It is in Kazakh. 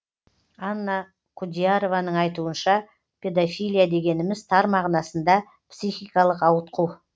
анна құдиярованың айтуынша педофилия дегеніміз тар мағынасында психикалық ауытқу